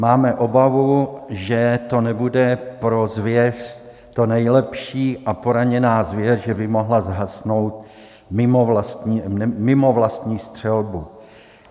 Máme obavu, že to nebude pro zvěř to nejlepší a poraněná zvěř že by mohla zhasnout mimo vlastní střelbu.